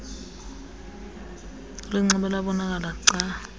ulinxibe labonakala gca